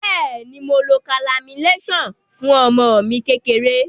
Beeni, Mo lo calamine lotion fun omo mi kekere.